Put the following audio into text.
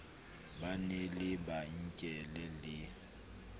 ba na le lebenkele le